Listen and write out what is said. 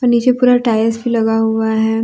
नीचे पूरा टाइल्स लगा हुआ है।